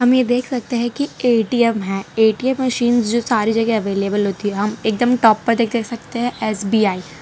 हमें देख सकते हैं कि ए_टी_एम है ए_टी_एम मशीन जो सारी जगह अवेलेबल होती है हम एकदम टॉप पर देख सकते हैं एस_बी_आई ।